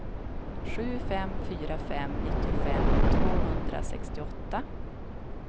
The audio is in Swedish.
sju fem fyra fem nittiofem tvåhundrasextioåtta